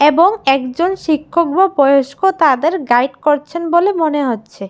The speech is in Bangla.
এবং একজন শিক্ষক বা বয়স্ক তাদের গাইড করছেন বলে মনে হচ্ছে।